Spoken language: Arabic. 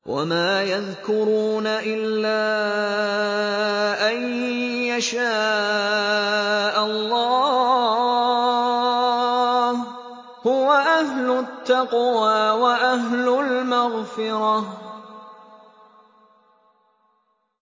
وَمَا يَذْكُرُونَ إِلَّا أَن يَشَاءَ اللَّهُ ۚ هُوَ أَهْلُ التَّقْوَىٰ وَأَهْلُ الْمَغْفِرَةِ